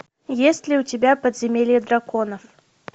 есть ли у тебя подземелье драконов